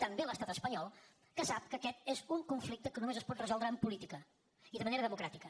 també a l’estat espanyol que sap que aquest és un conflicte que només es pot resoldre amb política i de manera democràtica